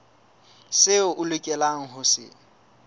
seo o lokelang ho se